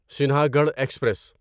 Sinhagad express